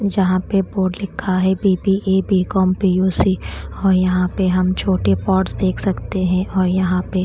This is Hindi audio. यहाँ पे बोर्ड लिखा है B_ B_ A B_ com P_ U_ C और यहाँ पे हम छोटे पॉट्स देख सकते है और यहाँ पे --